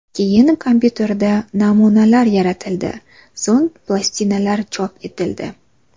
Keyin kompyuterda namunalar yaratildi, so‘ng plastinalar chop etildi.